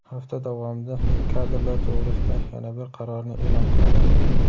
Hafta davomida men kadrlar to‘g‘risida yana bir qarorni e’lon qilaman.